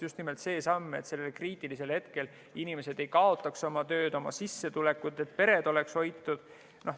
Just nimelt see samm, et kriitilisel hetkel inimesed ei kaotaks oma tööd, oma sissetulekut, et pered oleks hoitud.